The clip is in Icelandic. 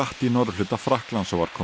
í norðurhluta Frakklands og var kominn